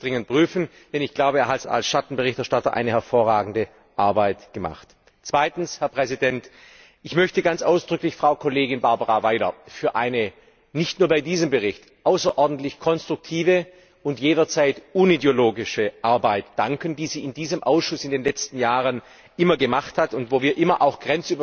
Aber ich werde das dringend prüfen, denn ich glaube, er hat als Schattenberichterstatter hervorragende Arbeit geleistet. Zweitens Ich möchte ganz ausdrücklich Frau Kollegin Barbara Weiler für ihre nicht nur bei diesem Bericht außerordentlich konstruktive und jederzeit unideologische Arbeit danken, die sie in diesem Ausschuss in den letzten Jahren immer geleistet hat, und wo wir immer auch